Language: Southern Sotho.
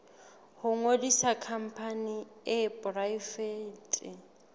ho ngodisa khampani e poraefete